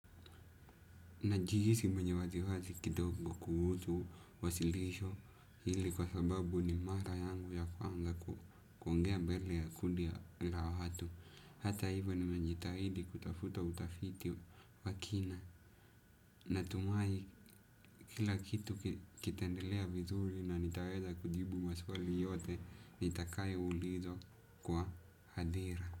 Najihisi mwenye wasiwasi kidogo kuhusu, wasilisho hili kwa sababu ni mara yangu ya kwanza kuongea mbele ya kundi la watu. Hata hivyo ni menjitahidi kutafuta utafiti wa kina. Natumai kila kitu kitendelea vizuri na nitaweza kujibu maswali yote, nitakayo ulizwa kwa hadira.